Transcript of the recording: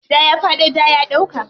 Ja ya faɗo, ja ya ɗauka.